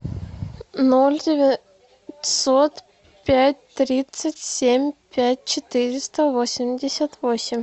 ноль девятьсот пять тридцать семь пять четыреста восемьдесят восемь